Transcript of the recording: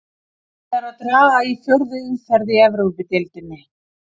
Búið er að draga í fjórðu umferð í Evrópudeildinni.